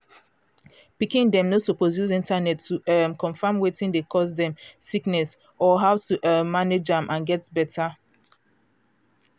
pikin dem no suppose use internet to um confam wetin dey cause dem sickness or how to um manage am and get beta.